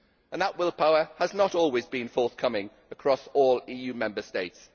That will power has not always been forthcoming across all EU Member States